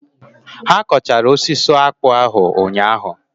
Ha kọchara osisi akpụ ahụ ụnyaahụ?